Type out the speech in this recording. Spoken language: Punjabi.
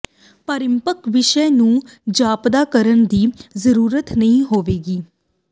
ਪਰਿਪੱਕ ਵੀਸ਼ਾ ਨੂੰ ਜਾਪਦਾ ਕਰਨ ਦੀ ਜ਼ਰੂਰਤ ਨਹੀਂ ਹੋਵੇਗੀ